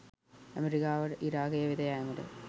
ඇමරිකාවට ඉරාකය වෙත යාමට